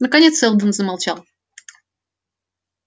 наконец сэлдон замолчал